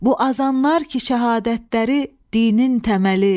Bu azanlar ki şəhadətləri dinin təməli.